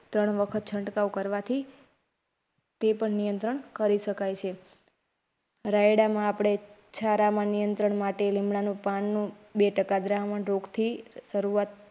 ત્રણ વખત છંટકાવ કરવાથી તે પણ નિયંત્રણ કરી શકાય છે રાયડા માં આપડે છારા માં નિયંત્રણ માટે લીમડાના પાનનો બે ટકા રોગ થી શરૂઆત.